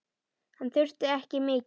Hann þurfti ekki mikið.